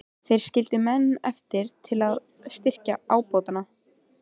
Þeir skildu menn eftir til að styrkja ábótann.